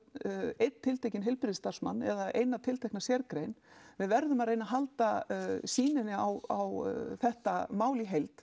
einn tiltekinn heilbrigðisstarfsmann eða eina tiltekna sérgrein við verðum að reyna halda sýninni á þetta mál í heild